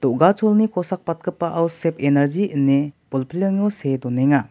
kosakbatgipao sep enarji ine bolplengo see donenga.